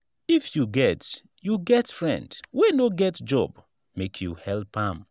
if you get you get friend wey no get job make you help am.